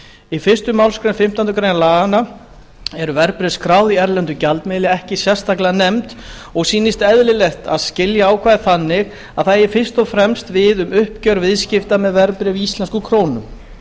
í fyrstu málsgrein fimmtándu grein laganna eru verðbréf skráð í erlendum gjaldmiðli ekki sérstaklega nefnd og sýnist eðlilegt að skilja ákvæðið þannig að það eigi fyrst og fremst við um uppgjör viðskipta með verðbréf í íslenskum krónum